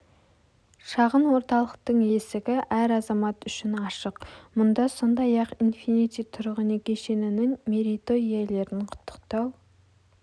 шағын орталықтың есігі әр азамат үшін ашық мұнда сондай-ақ инфинити тұрғын үй кешенінің мерейтой иелерін құттықтау